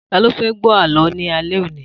Ta ló fẹ́ gbo Àlọ́ ni alẹ́ òní?